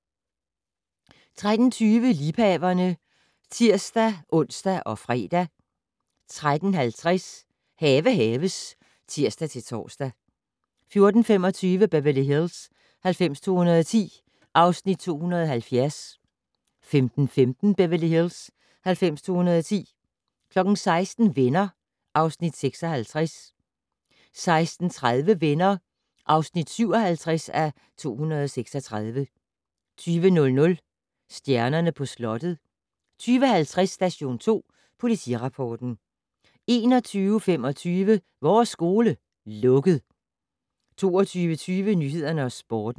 13:20: Liebhaverne (tir-ons og fre) 13:50: Have haves (tir-tor) 14:25: Beverly Hills 90210 (Afs. 270) 15:15: Beverly Hills 90210 16:00: Venner (Afs. 56) 16:30: Venner (57:236) 20:00: Stjernerne på slottet 20:50: Station 2 Politirapporten 21:25: Vores skole - lukket 22:20: Nyhederne og Sporten